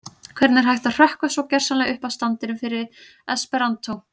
Hvernig er hægt að hrökkva svo gersamlega upp af standinum fyrir esperantó?